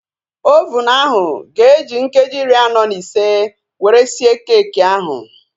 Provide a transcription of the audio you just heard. Ovunu ahu ga-eji nkeji iri anọ na ise were sie keekị ahu